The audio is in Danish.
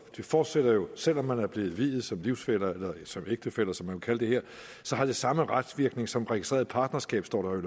fortsætter jo selv om man er blevet viet som livsfæller eller som ægtefæller som man vil kalde det her har det samme retsvirkning som registreret partnerskab står